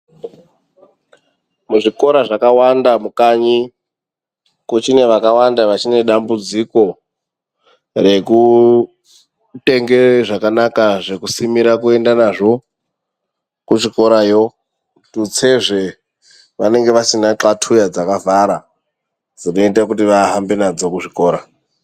Muzvikora zvakawanda mukanyi kuchine vakawanda vachine dambudziko rekutenge zvakanaka zvekusimira kuende nazvo kuzvikorayo. Tutsezve vanenge vasina txatuya dzakavharwa dzinoite kuti vahambe nadzo kuzvikora.